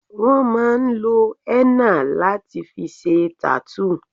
Wón máa ń lo henna láti fi ṣe tattoo